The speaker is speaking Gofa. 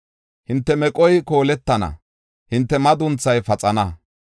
“Hinte meqoy kooletenna; hinte madunthay paxenna.